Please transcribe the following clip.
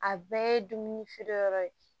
A bɛɛ ye dumuni feere yɔrɔ ye